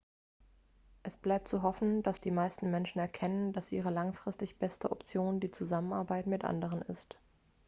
es bleibt zu hoffen dass die meisten menschen erkennen dass ihre langfristig beste option die zusammenarbeit mit anderen ist